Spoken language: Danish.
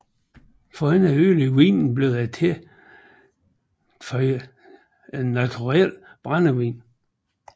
For ikke at ødelægge vinen blev den tilføjet neutral brændevin